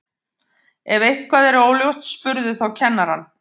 Ef eitthvað er óljóst spurðu þá kennarann.